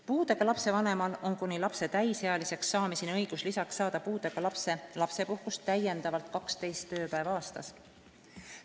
Puudega lapse vanemal on kuni lapse täisealiseks saamiseni õigus lisaks saada puudega lapse lapsepuhkust täiendavalt 12 tööpäeva aastas.